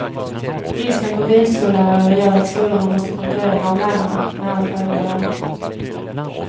Bristen på bilskollärare gör att skolorna måste konkurrera om lärarna med allt högre löner.